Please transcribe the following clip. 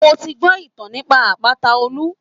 Mo ti gbọ́ ìtàn nípa àpáta Olúmọ